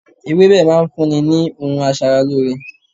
Ewébẹ̀ máa ń fún ni ohun aṣaralóore.